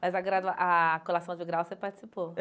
Mas a gradua a colação de grau você participou?